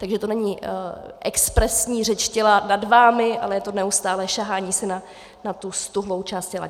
Takže to není expresivní řeč těla nad vámi, ale je to neustálé sahání si na tu ztuhlou část těla.